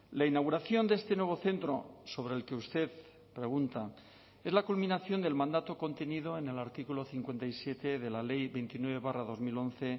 la inauguración de este nuevo centro sobre el que usted pregunta es la culminación del mandato contenido en el artículo cincuenta y siete de la ley veintinueve barra dos mil once